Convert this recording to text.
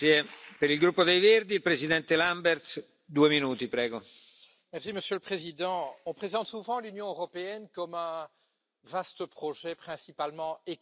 Monsieur le Président, on présente souvent l'Union européenne comme un vaste projet principalement économique, attaché à la promotion des intérêts des détenteurs de capitaux.